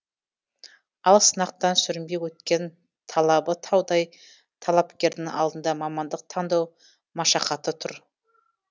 ал сынақтан сүрінбей өткен талабы таудай талапкердің алдында мамандық таңдау машақаты тұр